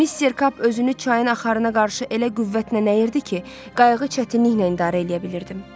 Mister Kap özünü çayın axarına qarşı elə qüvvətlə nəlirdi ki, qayıqı çətinliklə idarə eləyə bilirdim.